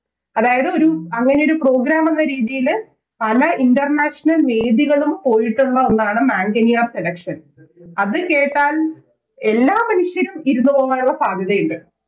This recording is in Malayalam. അതായതു ഒരു അങ്ങനെയൊരു Program എന്ന രീതിയില് പല International വേദികളും പോയിട്ടുള്ള ഒന്നാണ് മാംഗനിയ കടക്ക്ഷൻ അത് കേട്ടാൽ എല്ലാ മനുഷ്യരും ഇരുന്നു പോകുന്നുള്ള സാധ്യതയുണ്ട്